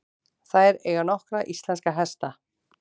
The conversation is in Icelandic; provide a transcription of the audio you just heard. Þær eiga nokkra íslenska hesta.